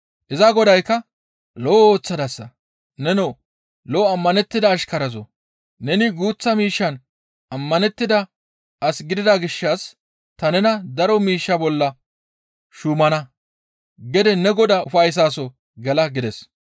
Iza godaykka, ‹Lo7o ooththadasa; nenoo lo7o ammanettida ashkarazoo! Neni guuththa miishshan ammanettida as gidida gishshas ta nena daro miishsha bolla shuumana; gede ne godaa ufayssaso gela› gides.